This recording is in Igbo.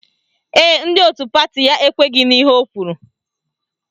Ee, ndị otu pati ya ekweghi n'ihe o kwuru